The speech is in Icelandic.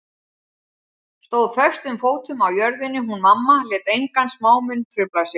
Stóð föstum fótum á jörðinni hún mamma, lét enga smámuni trufla sig.